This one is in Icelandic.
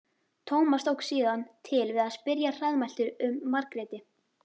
Tómas tók síðan til við að spyrja hraðmæltur um Margréti.